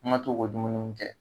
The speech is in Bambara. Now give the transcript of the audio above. Kuma t'o bɛ dumuni min kɛ .